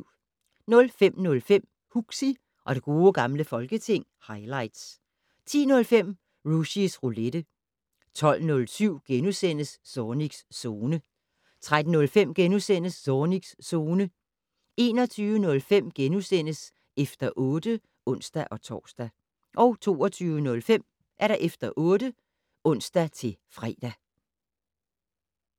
05:05: Huxi og det gode gamle folketing - highlights 10:05: Rushys Roulette 12:07: Zornigs Zone * 13:05: Zornigs Zone * 21:05: Efter 8 *(ons-tor) 22:05: Efter 8 (ons-fre)